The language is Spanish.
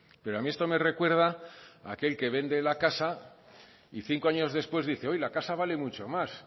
pero a mí esto me recuerda a aquel que vende la casa y cinco años después dice uy la casa vale mucho más